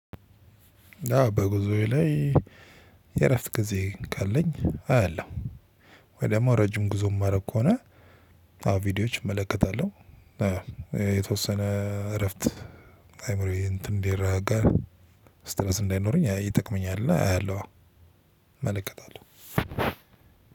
በጉዞዬ ላይ የእረፍት ጊዜ ካለኝ አያለው ወይ ደሞ ረጅም ጉዞ ማረግ ከሆነ ቪዲዮዎች እመለከታለሁ። የተወሰነ እረፍት አይምሮዬ እንትን እንትን እንዲረጋጋ ስትረስ እንዳይኖረኝ ይጠቅመኛል አያለሁ። እመለከታለሁ